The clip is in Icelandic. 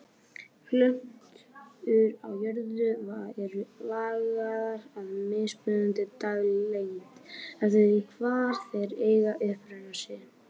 Plöntur á jörðu eru lagaðar að mismunandi daglengd eftir því hvar þær eiga uppruna sinn.